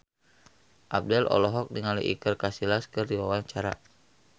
Abdel olohok ningali Iker Casillas keur diwawancara